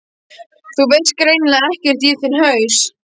ÞÚ VEIST GREINILEGA EKKERT Í ÞINN HAUS!